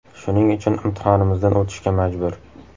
Shuning uchun imtihonimizdan o‘tishga majbur.